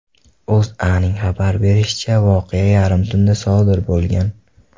O‘zAning xabar berishicha , voqea yarim tunda sodir bo‘lgan.